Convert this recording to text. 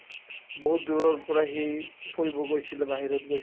বহুত দূৰৰ পৰা সি পঢ়িব গৈছিলে বাহিৰত গৈছি